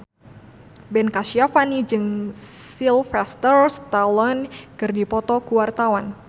Ben Kasyafani jeung Sylvester Stallone keur dipoto ku wartawan